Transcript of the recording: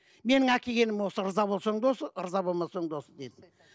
менің әкелгенім осы ырза болсаң да осы ырза болмасаң да осы дедік